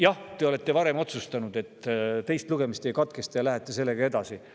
Jah, te olete varem otsustanud, et teist lugemist ei katkestata ja te lähete sellega edasi.